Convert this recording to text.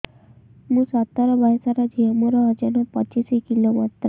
ମୁଁ ସତର ବୟସର ଝିଅ ମୋର ଓଜନ ପଚିଶି କିଲୋ ମାତ୍ର